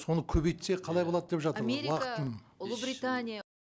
соны көбейтсе қалай болады деп жатыр ғой америка ұлыбритания